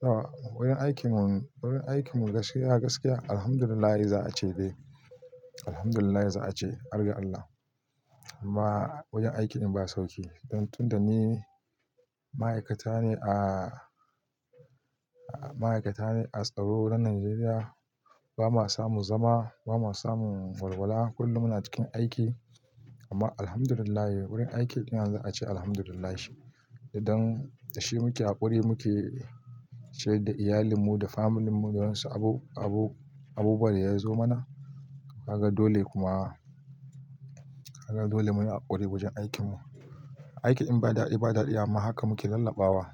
Tau wurin aikin mu, wurin aikin mu gaskiya, gaskiya alhamdulillahi za a ce dai. Alhamdulillah za a ce, har ga Allah. Amma wajen aiki din ba sauƙi don tun da ni ma'aikata ne a, ma'aikata ne a tsaro na Najeriya, ba ma samun zama, ba ma samun walwala, kullum muna cikin aiki. Amma alhamdulillahi wurin aikin ɗin za a ce alhamdulillahi idan da shi muke haƙuri muke ciyar da iyalan mu da family mu da wasu abu, abu, abubuwan da ya zo mana. Kaga dole kuma. Kaga dole mu yi haƙuri wajen aikin mu. Aikin in ba daɗi ba daɗi, amma haka muke lallaɓawa.